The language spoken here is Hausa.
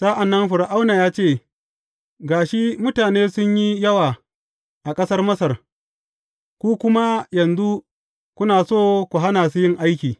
Sa’an nan Fir’auna ya ce, Ga shi mutane sun yi yawa a ƙasar Masar, ku kuma yanzu kuna so ku hana su yin aiki.